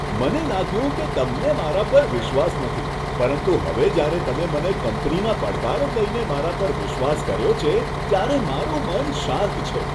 મને લાગ્યું કે તમને મારા પર વિશ્વાસ નથી પરંતુ હવે જ્યારે તમે મને કંપનીના પડકારો કહીને મારા પર વિશ્વાસ કર્યો છે, ત્યારે મારું મન શાંત છે.